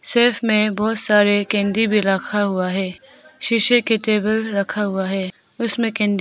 Shelve में बहुत सारे कैंडी भी रखा हुआ है । शीशे की टेबल रखा हुआ है । उसमें कैंडी --